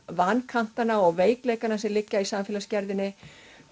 vankantana og veikleika sem liggja í samfélagsgerðinni